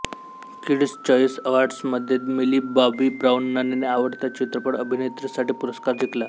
kids Choice अवॉर्ड्समध्ये Millie Bobby ब्राउनने आवडत्या चित्रपट अभिनेत्री साठी पुरस्कार जिंकला